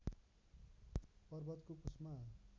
पर्वतको कुस्मा